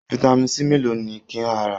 Vitamin C mélòó ni ka rà?